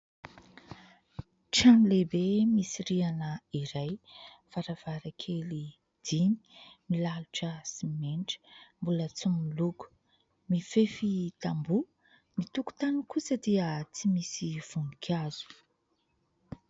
Trano lehibe misy rihana iray, varavarakely dimy, milalotra simenitra, mbola tsy miloka, mifefy tamboha, ny tokotany kosa dia tsy misy voninkazo.